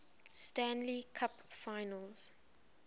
stanley cup finals